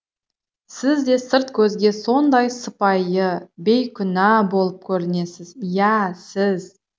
сіз де сырт көзге сондай сыпайы бейкүнә болып көрінесіз иә сіз